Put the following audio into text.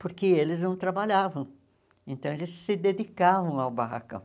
Porque eles não trabalhavam, então eles se dedicavam ao barracão.